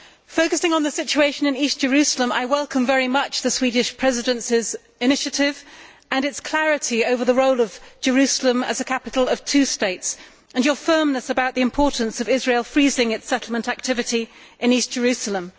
Focusing on the situation in East Jerusalem, I welcome very much the Swedish Presidency's initiative and its clarity over the role of Jerusalem as a capital of two states and your firmness about the importance of Israel freezing its settlement activity in East Jerusalem.